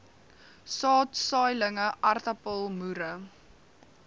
saad saailinge aartappelmoere